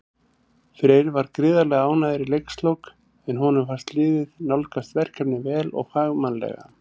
Freyr var gríðarlega ánægður í leikslok, en honum fannst liðið nálgast verkefnið vel og fagmannlega.